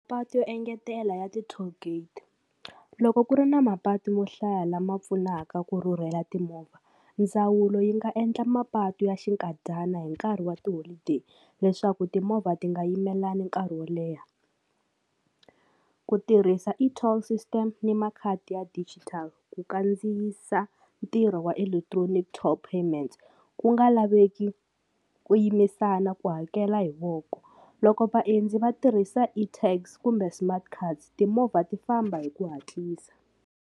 Patu yo engetela ya ti-toll gate loko ku ri na mapatu mo hlaya lama pfunaka ku rhurhela timovha ndzawulo yi nga endla mapatu ya xinkadyana hi nkarhi wa ti-holiday leswaku timovha ti nga yimelelana nkarhi wo leha ku tirhisa e-toll system ni makhadi ya digital ku kandziyisa ntirho wa electronic toll payment ku nga laveki ku yimisana ku hakela hi voko loko vaendzi va tirhisa e-tax kumbe smart card timovha ti famba hi ku hatlisa.